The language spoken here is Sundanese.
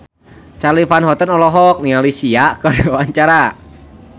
Charly Van Houten olohok ningali Sia keur diwawancara